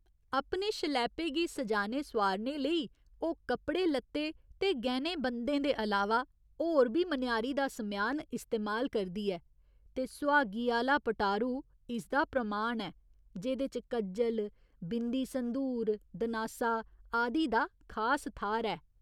अपने शलैपे गी सजाने सोआरने लेई ओह् कपड़े लत्ते ते गैह्‌नें बंद्धें दे अलावा होर बी मनेआरी दा समेआन इस्तेमाल करदी ऐ ते सुहागी आह्‌ला पटारू इसदा प्रमाण ऐ, जेह्दे च कज्जल, बिंदी संदूर, दनासा, आदि दा खास थाह्‌र ऐ।